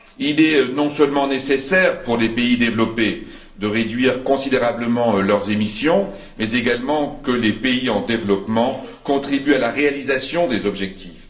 Il est non seulement nécessaire pour les pays développés de réduire considérablement leurs émissions, mais il faut également que les pays en développement contribuent à la réalisation des objectifs.